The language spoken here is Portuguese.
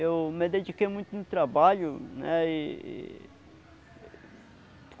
Eu me dediquei muito no trabalho, né? E e